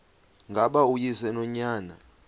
ngaba uyise nonyana